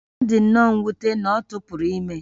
Ọ dị nnọọ mwute na ọ tụpụrụ ime